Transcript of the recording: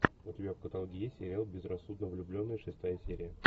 у тебя в каталоге есть сериал безрассудно влюбленные шестая серия